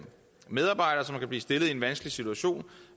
medarbejdere som kan blive stillet i en vanskelig situation